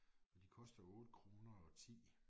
De koster 8 kroner og 10